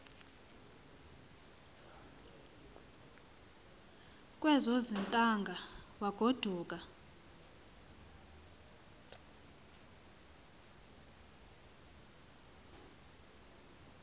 kwezo zithaanga wagoduka